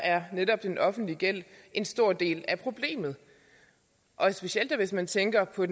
er netop den offentlige gæld en stor del af problemet og specielt da hvis man tænker på